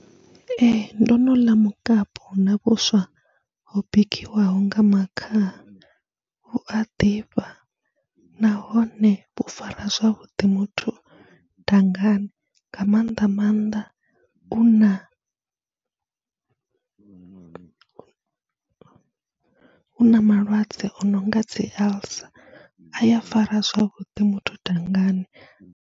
Ee, ndo no ḽa mukapu na vhuswa ho bikiwaho nga makhaha, vhu a ḓifha nahone vhu fara zwavhuḓi muthu dangani nga mannḓa maanḓa u na u na malwadze o no nga dzi alcer, a ya fara zwavhuḓi muthu dangani.